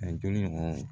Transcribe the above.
A ye jɔnni bɔ